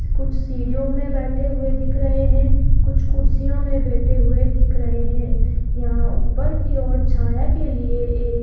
कुछ सीढ़ियों में बैठे हुए दिख रहे हैं कुछ कुर्सियों में बैठे हुए दिख रहे हैं यहां ऊपर की ओर छाया के लिए एक--